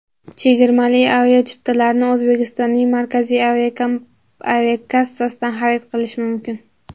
Chegirmali aviachiptalarni O‘zbekistonning Markaziy aviakassasidan xarid qilish mumkin.